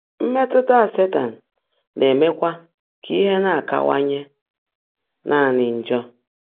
Mmétụ́tá Sétan ná-èméèkwá kà íhe ná-ákáwáńyé nàní njọ́.